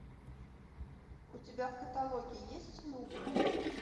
у тебя в каталоге есть нубы